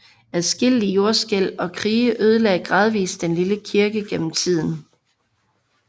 Adskillige jordskælv og krige ødelagde gradvis denne lille kirke gennem tiden